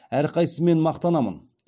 әрқайсысымен мақтанамын